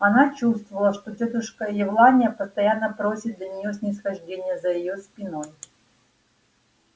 она чувствовала что тётушка евлалия постоянно просит для неё снисхождения за её спиной